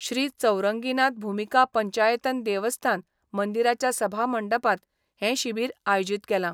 श्री चौरंगीनाथ भुमिका पंचायतन देवस्थान मंदिराच्या सभा मंडपांत हे शिबीर आयोजित केलां.